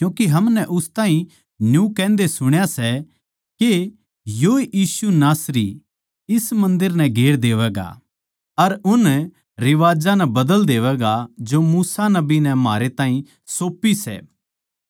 क्यूँके हमनै उस ताहीं न्यू कहन्दे सुण्या सै के योए यीशु नासरी इस मन्दर नै गेर देवैगा अर उन रिवाज्जां नै बदल देवैगा जो मूसा नबी नै म्हारै ताहीं सौंपी सै